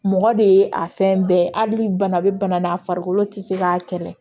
Mɔgɔ de ye a fɛn bɛɛ ye hali bana bɛ bana na farikolo tɛ se k'a kɛlɛ